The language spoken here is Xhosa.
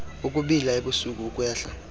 ukubila ebusuku ukwehla